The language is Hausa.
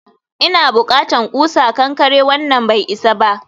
ina bukatan ƙusa kankare, wannan bai isa ba